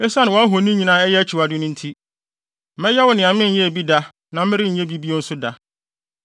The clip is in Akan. Esiane wʼahoni nyinaa a ɛyɛ akyiwade no nti, mɛyɛ wo nea menyɛɛ bi da na merenyɛ bi bio nso da.